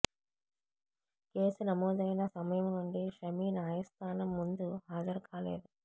case నమోదయిన సమయం నుండి షమీ న్యాయస్థానం ముందు హాజరుకాలేదు